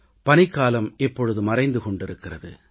பனிக்காலம் இப்பொழுது மறைந்து கொண்டிருக்கிறது